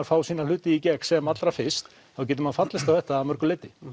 fá sína hluti í gegn sem allra fyrst þá getur maður fallist á þetta að mörgu leyti